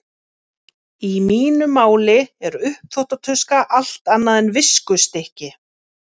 Í mínu máli er uppþvottatuska allt annað en viskustykki.